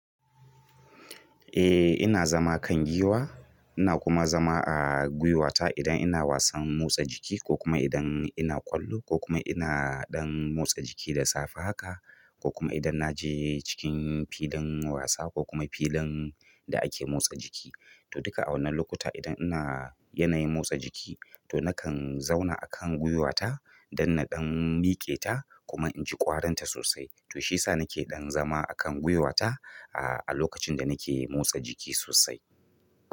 Eh ina zama kan giwa, ina kuma zama a gwiwata idan ina wasan motsa jiki ko kuma idan ina ƙwallo ko kuma ina ɗan motsa jiki da safe haka ko kuma idan na je cikin filin wasa ko kuma filin da ake motsa jiki. To duka a wannan lokuta idan ina yanayin motsa jiki to nakan zauna akan gwuiwata dan na ɗan miƙeta kuma inji ƙwarinta sosai to shiyasa nake zama akan ɗan gwuiwata a lokacin da nake motsa jiki.